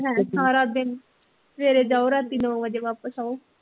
ਹੈਂ ਸਾਰਾ ਦਿਨ ਸਵੇਰੇ ਜਾਓ ਰਾਤੀ ਨੋਂ ਵਜੇ ਵਾਪਸ ਆਓ